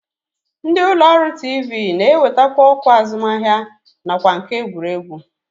Ndị ụlọọrụ tiivii na-ewetakwa ọkwa azụmahịa nakwa nke egwuregwu